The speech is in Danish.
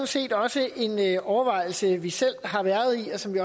set også en overvejelse vi selv har været i og som vi